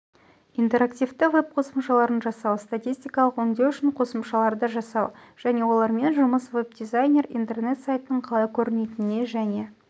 интерактивті веб-қосымшаларын жасау статистикалық өңдеу үшін қосымшаларды жасау және олармен жұмыс веб-дизайнер интернет-сайттың қалай көрінетініне және